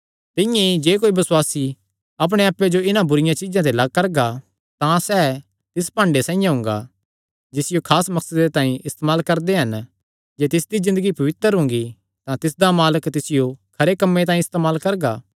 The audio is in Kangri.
तिंआं ई जे कोई बसुआसी अपणे आप्पे जो इन्हां बुरिआं चीज्जां ते लग्ग करगा तां सैह़ तिस भांडे साइआं हुंगा जिसियो खास मकसदे तांई इस्तेमाल करदे हन जे तिसदी ज़िन्दगी पवित्र हुंगी तां तिसदा मालक तिसियो खरे कम्मे तांई इस्तेमाल करगा